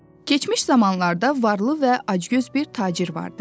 Keçmiş zamanlarda varlı və acgöz bir tacir vardı.